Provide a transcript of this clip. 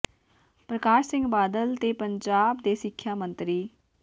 ਪਰਕਾਸ਼ ਸਿੰਘ ਬਾਦਲ ਤੇ ਪੰਜਾਬ ਦੇ ਸਿਖਿਆ ਮੰਤਰੀ ਸ